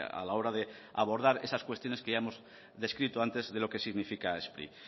a la hora de abordar esas cuestiones que ya hemos descrito antes de lo que significa spri